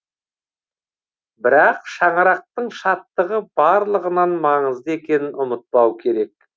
бірақ шаңырақтың шаттығы барлығынан маңызды екенін ұмытпау керек